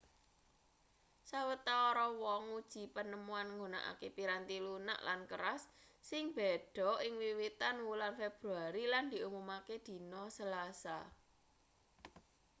sawetara wong nguji panemuan nggunakake piranti lunak lan keras sing beda ing wiwitan wulan februari lan diumumake dina selasa